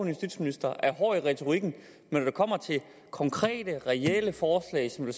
justitsminister er hård i retorikken men når det kommer til konkrete reelle forslag som vil